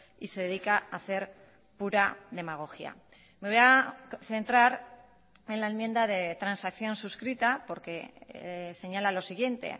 y se dedica a hacer pura demagogia me voy a centrar en la enmienda de transacción suscrita porque señala lo siguiente